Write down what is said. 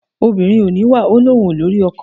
Obìnrin ò níwà ó ní òun ò lórí ọkọ.